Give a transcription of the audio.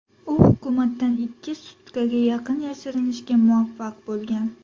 U hukumatdan ikki sutkaga yaqin yashirinishga muvaffaq bo‘lgan.